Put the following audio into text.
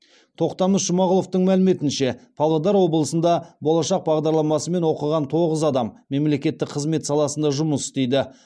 тоқтамыс жұмағұловтың мәліметінше павлодар облысында болашақ бағдарламасымен оқыған тоғыз адам мемлекеттік қызмет саласында жұмыс істейді